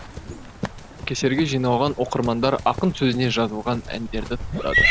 кесерге жиналған оқырмандар ақын сөзіне жазылған әндерді тыңдады